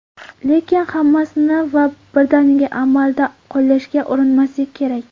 Lekin, hammasini va birdaniga amalda qo‘llashga urinmaslik kerak.